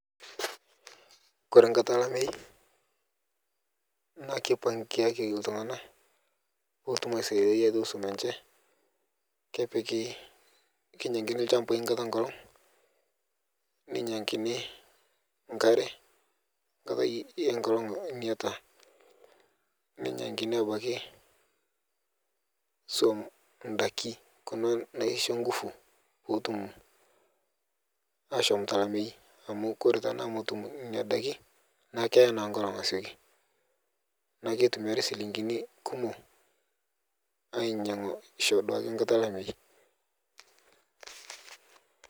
Kore tenkata lamei naa keipangiaki ltungana petum aisadiai ltungana lenche kepiki keinyankini lshambai nkata enkolog nenyangini nkare nkatai enkolog niata nenyangini abaki suom ndaki kuna naisho nguvu potum ashom telamei amu kore tanaa motum nenia daki naaku keya naa nkolog asioki naaku keitumiari silingini kumo ainyangisho duake nkata elamai